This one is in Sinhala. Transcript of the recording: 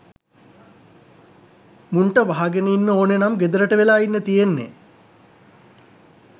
මුන්ට වහගෙන ඉන්න ඕනේ නම් ගෙදරට වෙලා ඉන්න තියෙන්නේ.